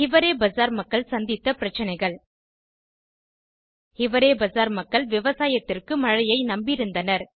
ஹிவரே பசார் மக்கள் சந்தித்த பிரச்சனைகள் ஹிவரே பசார் மக்கள் விவசாயத்திற்கு மழையை நம்பியிருந்தனர்